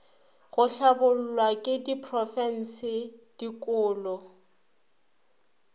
go hlabollwa ke diprofense dikolo